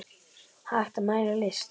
Hægt að mæla list?